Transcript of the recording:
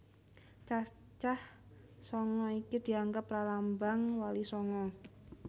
Cacah sanga iki dianggep pralambang Wali Sanga